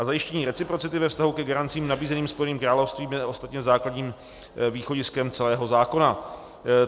A zajištění reciprocity ve vztahu ke garancím nabízeným Spojeným královstvím je ostatně základním východiskem celého zákona.